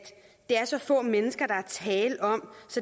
det er så få mennesker der er tale om